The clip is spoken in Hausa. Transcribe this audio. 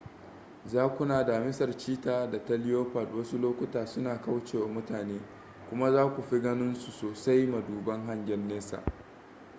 zakuna damisar cheetah da ta leopard wasu lokuta suna kaucewa mutane kuma za ku fi ganin su sosai maduban hangen nesa